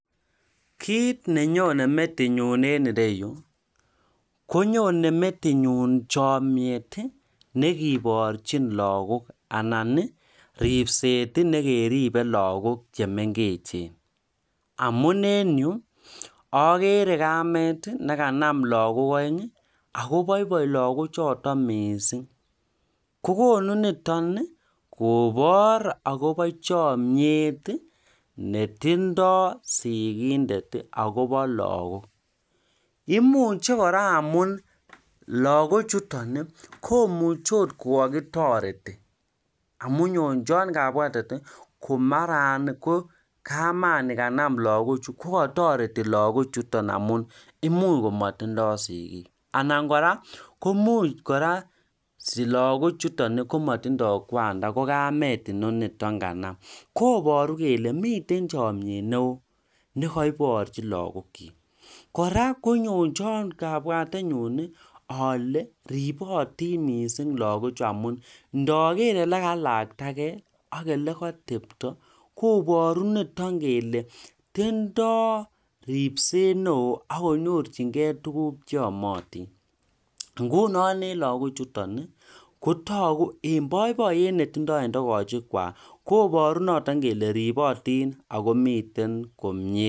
kiit nenyone metitnyun enreyu konyone metitnyu chamyiet nekiboorchin lagook anan riibset nekeribe lagook chemengechen. amun enyu ageere kamit nekanam lagook aeng' akobaibai lagochootok miising' kokonu niiton koboor akobo chamyiet netindoi sigindet akobo lagook. imuche kora amun lagochuton komuchon kokakitoreti amu nyonjwai kabwatet ko mara kaama nikanam lagoochu kokatoreti lagoochuton amu imuch komatindoi sigiik anan kora komuch kora silagochuton komatindoi kwan nda kokamet. kobooru kole mite chamyiet neo nekaiboorchi lagook .kora konyonjoi kabwatenyun ale ribootin miising' lagoochu amun ndageer olekailaktagei ak olekatepto kobooru neton kele tendoi riibset neo akonyorchingei tuguk cheamatin. ngunon elagoochuton kotoku en baibaiyet netindoi en togochekwai koboru noton kele ribootin akomiten komyie